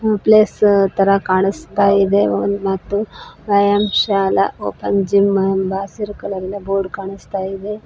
Place ತರ ಕಾಣಿಸ್ತಾ ಇದೆ ಒಂದ್ ಮತ್ತು ಐ_ಯಾಮ್ ಶಾಲಾ ಓಪನ್ ಜಿಮ್ ಎಂಬ ಹಸಿರು ಕಲರಿನ ಬೋರ್ಡ್ ಕಾಣಿಸ್ತಾ ಇದೆ.